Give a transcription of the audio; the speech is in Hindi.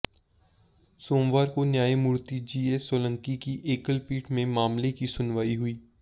सोमवार को न्यायमूर्ति जीएस सोलंकी की एकलपीठ में मामले की सुनवाई हुई